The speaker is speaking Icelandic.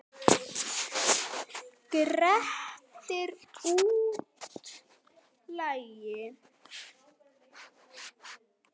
Grettir útlagi.